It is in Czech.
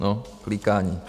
- No, klikání.